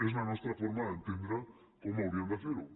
és la nostra forma d’entendre com haurien de fer ho